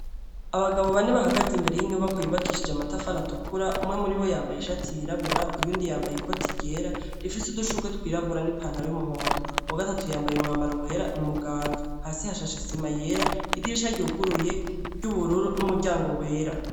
Abagabo bane bahagaze imbere y'inyubako yubakishije amatafara tukura umwe muri wo yambaye ishatu yirabura uyundi yambaye i koti ryera rifise udushurwe twirabura n'ipantara y'umuhondo uwa gatatu yambaye umwambaro wera niumuganga hasi ha shashesema yera gidirisha ryuguruye ry'ubururu n'umuryango wera.